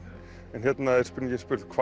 en hérna er spurt hvað